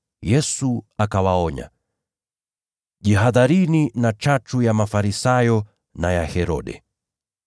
Yesu akawaonya: “Jihadharini na chachu ya Mafarisayo na ya Herode.”